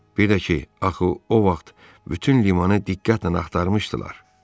Bir də ki, axı o vaxt bütün limanı diqqətlə axtarmışdılar.